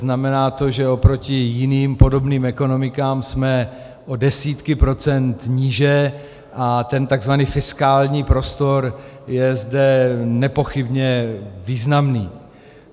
Znamená to, že oproti jiným podobným ekonomikám jsme o desítky procent níže a ten tzv. fiskální prostor je zde nepochybně významný.